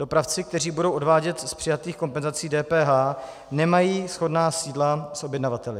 Dopravci, kteří budou odvádět z přijatých kompenzací DPH, nemají shodná sídla s objednavateli.